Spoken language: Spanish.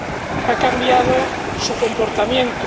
que ha cambiado su comportamiento.